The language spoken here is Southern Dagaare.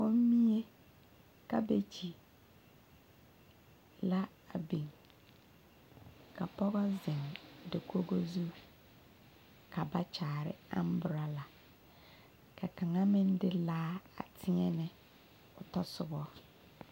Kɔmmie kabegyi la a biŋ ka pɔge zeŋ dakogo zu ka ba kyaare umbrella ka kaŋa meŋ de laa a teɛnɛ o tasoba.